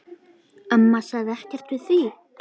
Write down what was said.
Amma sagði ekkert við því.